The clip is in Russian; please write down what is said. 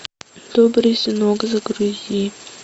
добрый сынок загрузи